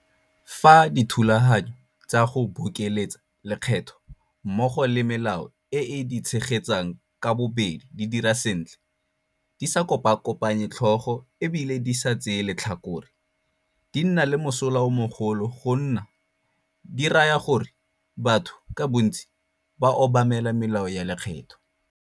Fa dithulaganyo tsa go bokeletsa lekgetho mmogo le melao e e di tshegetsang ka bobedi di dira sentle, di sa kopakopanye tlhogo e bile di sa tseye letlhakore, di nna le mosola o mogolo go nne di raya gore batho ka bontsi ba obamele melao ya lekgetho.